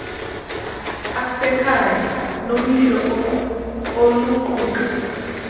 asekhaya nolomlilo oluquka